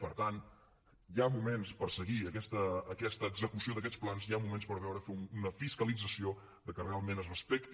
per tant hi ha moments per seguir aquesta execució d’aquests plans hi ha moments per fer una fiscalització que realment es respecti